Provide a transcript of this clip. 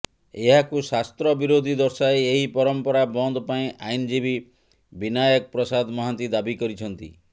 ଏହାକୁ ଶାସ୍ତ୍ର ବିରୋଧୀ ଦର୍ଶାଇ ଏହି ପରମ୍ପରା ବନ୍ଦପାଇଁ ଆଇନଜୀବୀ ବିନାୟକ ପ୍ରସାଦ ମହାନ୍ତି ଦାବି କରିଛନ୍ତି